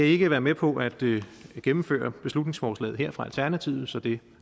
ikke være med på at gennemføre beslutningsforslaget her fra alternativet så det